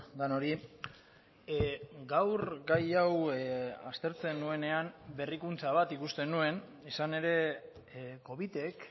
denoi gaur gai hau aztertzen nuenean berrikuntza bat ikusten nuen izan ere covitek